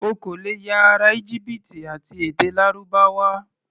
O kò lè ya ará Íjíbítì àti èdè Lárúbáwá.